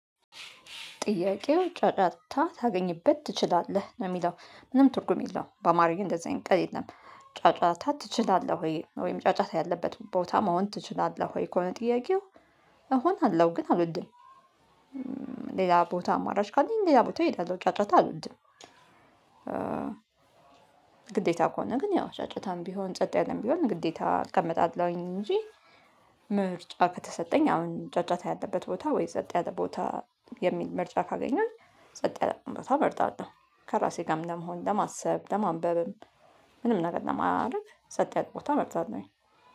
ጥያቄው ጫጫታ ታገኝበት ትችላለህ ነው የሚለው ምንም ትርጉም የለውም በአማርኛ እንደዚህ አይነት ቃል የለም። ጫጫታ ትችላለህ ወይ ወይም ጫጫታ ያለበት ቦታ መሆን ትችላለህ ወይ ከሆነ ጥያቄው? እሆናለሁ ግን አልውድም። ሌላ ቦታ አማራጭ ካለኝ ሌላ ቦታ እሄዳለሁ ጫጫታ አልውድም። ግዴታ ከሆነ ግን ያው ጫጫታም ቢሆን ጸጥ ያለም ቢሆን ግዴታ እቀመጣለሁኝ እንጂ። ምርጫ ከተሰጠኝ አሁን ጫጫታ ያለበት ቦታ ወይ ጸጥ ያለ ቦታ የሚል ምርጫ ካገኘሁኝ ጸጥ ያለ ቦታ እመርጣለሁ። ከራሴ ጋር ለመሆን ለማሰብ ለማንበብም ምንም ነገር ለማድረግ ጸጥ ያለ ቦታ እመርጣለሁኝ።